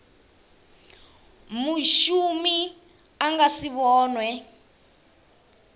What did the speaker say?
mushumi a nga si vhonwe